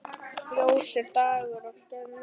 Ljósir dagar og nætur.